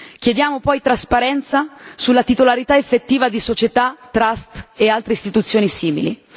Chiediamo poi trasparenza sulla titolarità effettiva di società, trust e altri istituzioni simili.